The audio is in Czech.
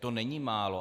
To není málo.